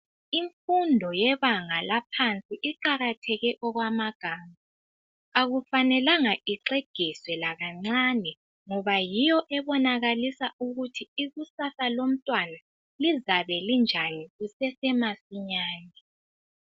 Imfundo yebanga laphansi iqakatheke okwamagama. Akufanelanga ixegiswe lakancane ngoba yiyo ebonakalisa ukuthi ikusasa lomntwana lizabe linjani kusesemasinyane.